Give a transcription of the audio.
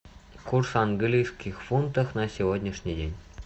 курс английских фунтов на сегодняшний день